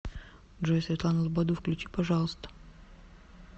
джой светлану лободу включи пожалуйста